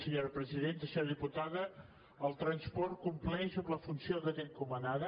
senyora diputada el transport compleix amb la funció que té encomanada